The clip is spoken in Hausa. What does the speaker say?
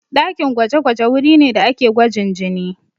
Ɗakin gwaje-gwaje wuri ne da ake gwajin jini.